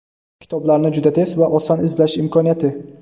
kitoblarni juda tez va oson izlash imkoniyati.